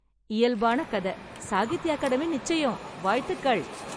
இயல்பான கத. சாகித்ய அகாடமி நிச்சயம்! வாழ்த்துக்கள்.